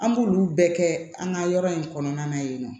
An b'olu bɛɛ kɛ an ka yɔrɔ in kɔnɔna na yen nɔ